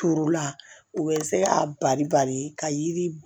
Turu la u bɛ se k'a bari bari ka yiri